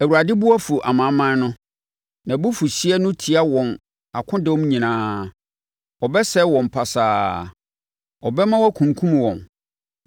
Awurade bo afu amanaman no; nʼabufuhyeɛ no tia wɔn akodɔm nyinaa. Ɔbɛsɛe wɔn pasaa, ɔbɛma wɔakunkum wɔn.